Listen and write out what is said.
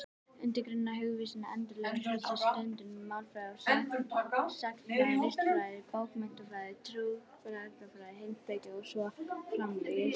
Undirgreinar hugvísinda endurspegla þessa sundurgreiningu: málfræði, sagnfræði, listfræði, bókmenntafræði, trúarbragðafræði, heimspeki og svo framvegis.